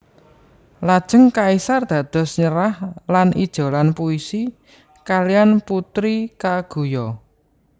Lajeng kaisar dados nyerah lan ijolan puisi kalihan Putri Kaguya